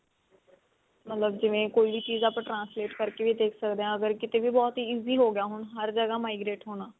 ਮਤਲਬ ਕਿਵੇਂ ਕੋਈ ਚੀਜ਼ ਆਪਾਂ translate ਕਰਕੇ ਵੀ ਦੇਖ ਸਕਦੇ ਹਾਂ ਅਗਰ ਕਿਤੇ ਵੀ ਬਹੁਤ easy ਵੀ ਹੋਗਿਆ ਹੁਣ ਹਰ ਜਗ੍ਹਾ migrate ਹੋਣਾ